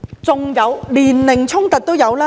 即使是年齡衝突也有。